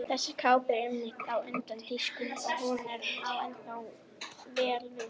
Þessi kápa var einmitt á undan tískunni og hún á ennþá vel við.